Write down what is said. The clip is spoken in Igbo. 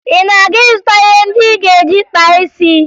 Ị na-aga ịzụta ihe ndị ị ga-eji kpaa isi?